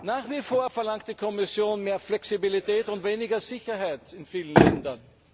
Nach wie vor verlangt die Kommission mehr Flexibilität und weniger Sicherheit in vielen Ländern.